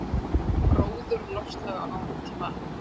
Gróður og loftslag á nútíma